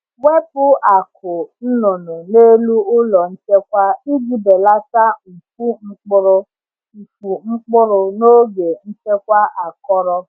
Wepu akụ́ nnụnụ n’elu ụlọ nchekwa iji belata mfu mkpụrụ mfu mkpụrụ n’oge nchekwa akọrọ.